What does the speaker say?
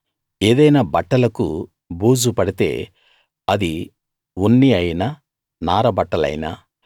ఏదైనా బట్టలకు బూజు పడితే అది ఉన్ని అయినా నార బట్టలైనా